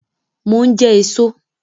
Mo ń jẹ èso